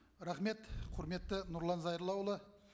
рахмет құрметті нұрлан зайроллаұлы